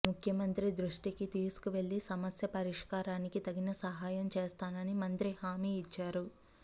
ముఖ్యమంత్రి దృష్టికి తీసుకువెళ్లి సమస్య పరిష్కారానికి తగిన సహాయం చేస్తానని మంత్రి హామీ ఇచ్చారు